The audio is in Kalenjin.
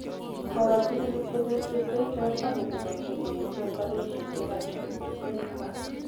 Kopa tugul ipkonyor chepkerichot ako mugagse keyachi opareshon yekachukutung'aikwak